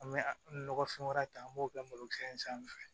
An bɛ nɔgɔfɛn wɛrɛ ta an b'o kɛ malo kɛnfɛ